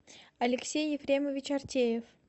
алексей ефремович артемьев